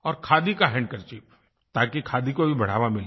और खादी का हैंडकरचीफ ताकि खादी को भी बढ़ावा मिले